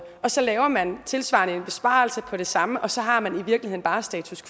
og så laver man en tilsvarende besparelse på det samme og så har man i virkeligheden bare status